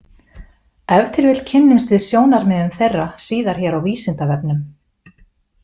Ef til vill kynnumst við sjónarmiðum þeirra síðar hér á Vísindavefnum.